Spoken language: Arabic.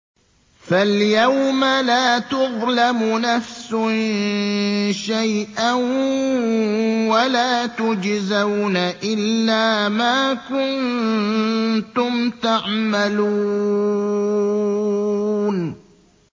فَالْيَوْمَ لَا تُظْلَمُ نَفْسٌ شَيْئًا وَلَا تُجْزَوْنَ إِلَّا مَا كُنتُمْ تَعْمَلُونَ